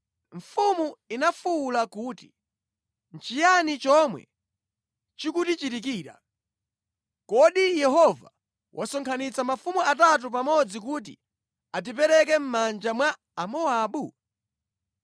Mfumu inafuwula kuti, “Nʼchiyani chomwe chikutichitikira! Kodi Yehova wasonkhanitsa mafumu atatu pamodzi kuti atipereke mʼmanja mwa Amowabu?”